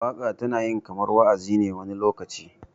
waka tana yin kamar wa'azi wani lokaci